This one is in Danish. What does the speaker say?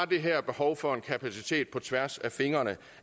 det her behov for en kapacitet på tværs af fingrene